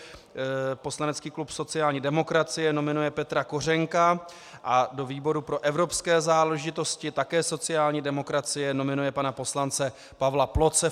Poslanecký klub sociální demokracie nominuje Petra Kořenka a do výboru pro evropské záležitosti také sociální demokracie nominuje pana poslance Pavla Ploce.